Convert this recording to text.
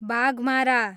Baghmara